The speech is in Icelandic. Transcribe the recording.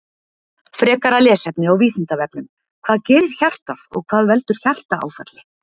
Frekara lesefni á Vísindavefnum: Hvað gerir hjartað og hvað veldur hjartaáfalli?